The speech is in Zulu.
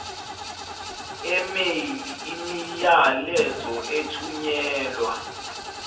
email imiyalezo ethunyelwa